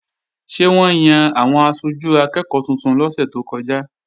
Ṣé wọ́n yan àwọn aṣojú akẹ́ẹ̀kọ́ tuntun lọ́sẹ̀ tó kọjá?